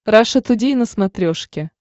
раша тудей на смотрешке